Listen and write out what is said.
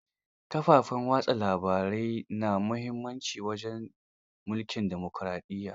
Kafafen watsa labarai na muhimmanci wajen tsarin mulkin demukuraɗiyya.